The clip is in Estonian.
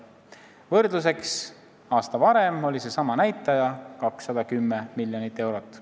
Võrdluseks, aasta varem oli seesama näitaja 210 miljonit eurot.